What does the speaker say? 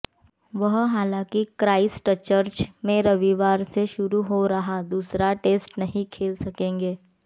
वह हालांकि क्राइस्टचर्च में रविवार से शुरू हो रहा दूसरा टेस्ट नहीं खेल सकेंगे